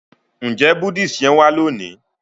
nje Buddhist yén wa loni?